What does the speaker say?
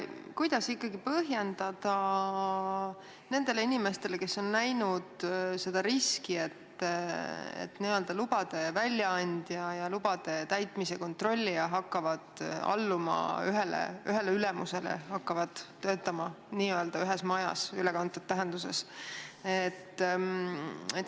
Kuidas põhjendada muudatust nendele inimestele, kes on näinud riski selles, et lubade väljaandja ja lubade täitmise kontrollija hakkavad alluma ühele ülemusele, hakkavad töötama ühes majas ülekantud tähenduses?